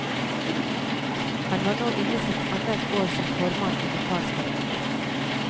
Han var nå inne i sitt annet år som formann i befalsforeningen.